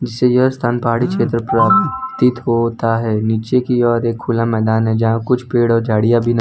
जिससे यह स्थान पहाड़ी क्षेत्र प्र तीत होता है नीचे की ओर एक खुला मैदान है जहां कुछ पेड़ और झाड़ियां भी नजर --